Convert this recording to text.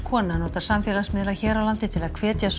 kona notar samfélagsmiðla hér á landi til að hvetja